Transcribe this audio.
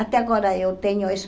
Até agora eu tenho isso.